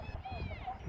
Ana, hardasan?